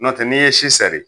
Nɔntɛ n' i ye si sɛri